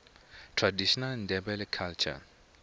traditional ndebele culture